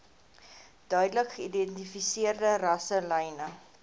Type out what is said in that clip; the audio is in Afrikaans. duidelik geïdentifiseerde rasselyne